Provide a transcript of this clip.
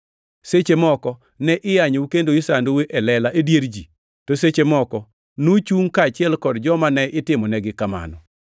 Seche moko ne iyanyou kendo isandou e lela e dier ji, to seche moko nuchungʼ kaachiel kod joma ne itimonegi kamano.